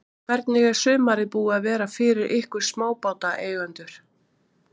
Hvernig er sumarið búið að vera fyrir ykkur smábátaeigendur?